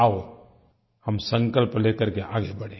आओ हम संकल्प ले करके आगे बढ़ें